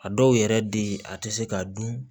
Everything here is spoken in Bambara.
A dɔw yɛrɛ bɛ ye a tɛ se ka dun